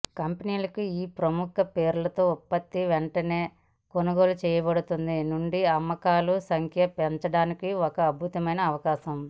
కంపెనీలకు ఈ ప్రముఖ పేరుతో ఉత్పత్తి వెంటనే కొనుగోలు చేయబడుతుంది నుండి అమ్మకాలు సంఖ్య పెంచడానికి ఒక అద్భుతమైన అవకాశం